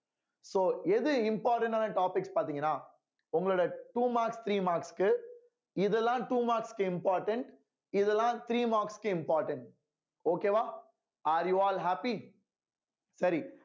so எது important ஆன topics பாத்தீங்கன்னா உங்களோட two marks three marks க்கு இதெல்லாம் two marks க்கு important இதெல்லாம் three marks க்கு important okay வா are you all happy சரி